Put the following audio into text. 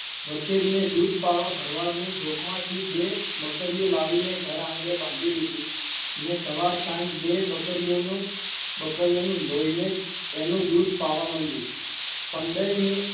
વછેરીને દૂધ પાવા ભરવાડની જોંકમાંથી બે બકરીઓ લાવીને ઘરઆંગણે બાંધી દીધી ને સવાર-સાંજ બે બકરીઓનું બકરીઓનું દોહીને તેનું દૂધ પાવા મંડ્યું પંડઈની